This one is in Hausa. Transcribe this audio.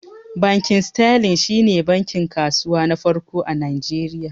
Bankin sterling shi ne bankin kasuwa na farko a Najeriya